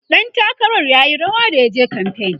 ɗan takarar r yayi rawa da yaje kamfain